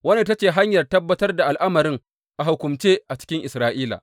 Wannan ita ce hanyar tabbatar da al’amarin a hukumance a cikin Isra’ila.